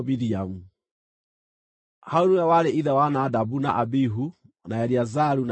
Harũni nĩwe warĩ ithe wa Nadabu na Abihu na Eleazaru na Ithamaru.